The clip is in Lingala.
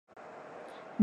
Mituka ya pondu na pembe